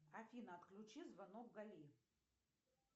афина отключи звонок гали